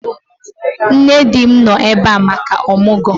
Nne di m nọ ebe a maka ọmụgwọ